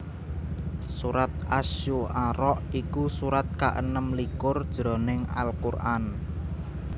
Surat Asy Syu ara iku surat kaenem likur jroning Al Qur an